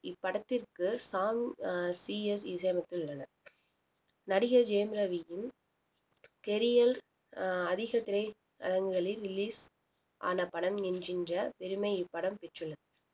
இப்படத்திற்கு ஷாம் ஹா C S இசையமைத்துள்ளனர் நடிகர் ஜெயம் ரவியின் career அதிகத் திரையரங்குகளில் release ஆன படம் என்கின்ற பெருமை இப்படம் பெற்றுள்ள~